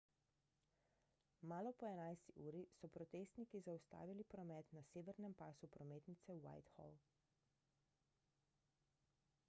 malo po 11 uri so protestniki zaustavili promet na severnem pasu prometnice whitehall